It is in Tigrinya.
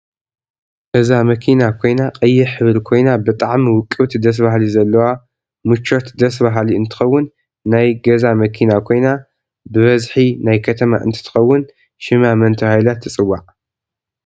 እዛ መኪና ኮይና ቀይ ሕብሪ ኮይና ብጣዓሚ ውቅብቲ ደስ ባሃሊት ዘለዋ ምቸት ደሰ በሃሊ እንትከውን ናይ ገዛ መኪና ኮይና ብበዝሕ ናይ ከተማ እንትትከውን ሽማ መን ተባሂላ ትፂዋዕ?